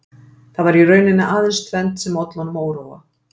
Það var í rauninni aðeins tvennt sem olli honum óróa